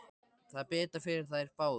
Það er betra fyrir þær báðar.